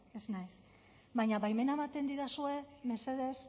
ez naiz baina baimena ematen didazue mesedez